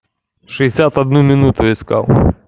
шестьдесят одну минуту искал